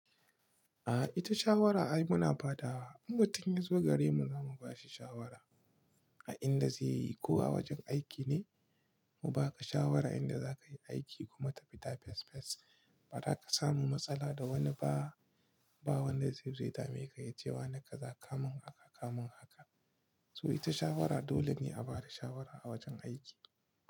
A ita shawara ai muna fadawa. In mutum ya zo gare mu, za mu ba shi shawara a inda zai yi. Ko a wajen aiki ne, mu baka shawara inda za ka yi aiki kuma ka fita fes fes. Ba za ka samu matsala da wani ba. Ba wani zai zaitace ka yace wa naka za ka mun haka kamun haka. So ita shawara dole ne a bada shawara a wajen aiki.